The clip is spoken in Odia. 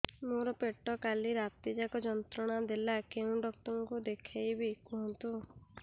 ମୋର ପେଟ କାଲି ରାତି ଯାକ ଯନ୍ତ୍ରଣା ଦେଲା କେଉଁ ଡକ୍ଟର ଙ୍କୁ ଦେଖାଇବି କୁହନ୍ତ